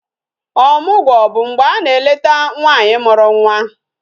Ọmụgwọ bụ mgbe a na-eleta nwaanyị mụrụ nwa